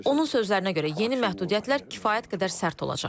Onun sözlərinə görə, yeni məhdudiyyətlər kifayət qədər sərt olacaq.